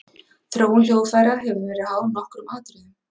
Þróun hljóðfæra hefur verið háð nokkrum atriðum.